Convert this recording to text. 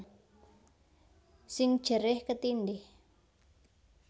Sing jerih ketindhih